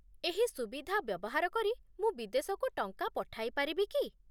ଏହି ସୁବିଧା ବ୍ୟବହାର କରି ମୁଁ ବିଦେଶକୁ ଟଙ୍କା ପଠାଇ ପାରିବି କି?